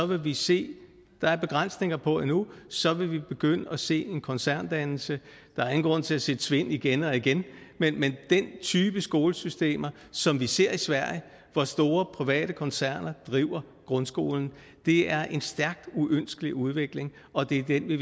vil vi se at der er begrænsninger på endnu og så vil vi begynde at se en koncerndannelse der er ingen grund til at sige tvind igen og igen men den type skolesystemer som vi ser i sverige hvor store private koncerner driver grundskolen er en stærkt uønskelig udvikling og det er den vi